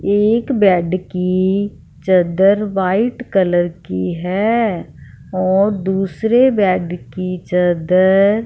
एक बेड की चद्दर वाइट कलर की है और दूसरे बेड की चद्दर --